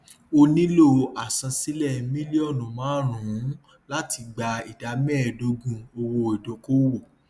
ó nílò àsansílẹ mílíọnù márùnún láti gba ìdá méẹdógún owó ìdókòòwò